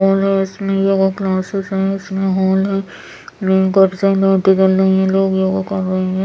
और हैं इसमे योगा क्लासेस हैं इसमें हॉल हैं काफी सारी लाइटे जल रही हैं लोग योगा कर रहे हैं ।